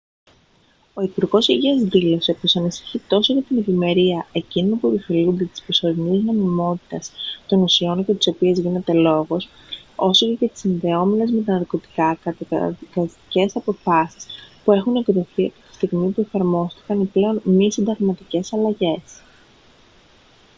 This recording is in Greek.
ο υπουργός υγείας δήλωσε πως ανησυχεί τόσο για την ευημερία εκείνων που επωφελούνται της προσωρινής νομιμότητας των ουσιών για τις οποίες γίνεται λόγος όσο και για τις συνδεόμενες με τα ναρκωτικά καταδικαστικές αποφάσεις που έχουν εκδοθεί από τη στιγμή που εφαρμόστηκαν οι πλέον μη συνταγματικές αλλαγές